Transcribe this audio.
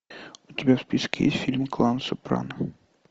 у тебя в списке есть фильм клан сопрано